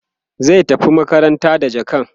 zai tafi makaranta da jakan